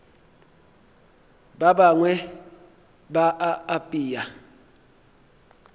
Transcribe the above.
ba bangwe ba a apea